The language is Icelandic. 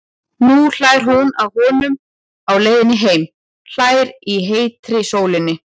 Nú hlær hún að honum á leiðinni heim, hlær í heitri sólinni.